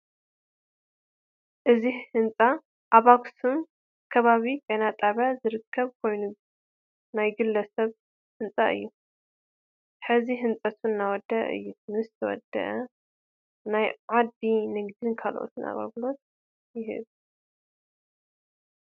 እዚ ህንፃ ኣብ ኣክሱም ክባቢ ጤና ጣብያ ዝርክብ ኮይኑ ናይ ግለ ስብ ህንፃ እዩ ሕዚ ህንፀቱ እናወደአ እዩ ምስ ተወደአ ናት ዓዲ ንግድን ካልኦትን አግልግሎት ይህብ ።